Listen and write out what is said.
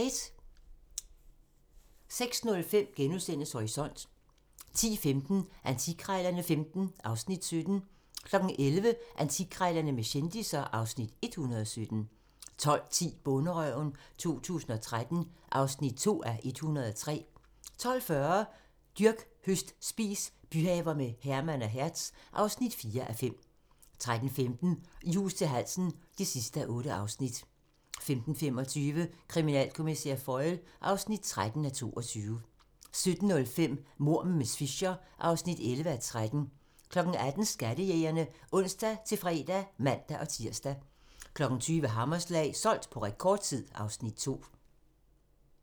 06:05: Horisont * 10:15: Antikkrejlerne XV (Afs. 17) 11:00: Antikkrejlerne med kendisser (Afs. 117) 12:10: Bonderøven 2013 (2:103) 12:40: Dyrk, høst, spis - byhaver med Herman og Hertz (4:5) 13:15: I hus til halsen (8:8) 15:25: Kriminalkommissær Foyle (13:22) 17:05: Mord med miss Fisher (11:13) 18:00: Skattejægerne (ons-fre og man-tir) 20:00: Hammerslag - solgt på rekordtid (Afs. 2)